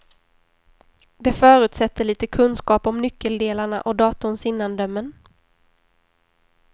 Det förutsätter lite kunskap om nyckeldelarna och datorns innandömen.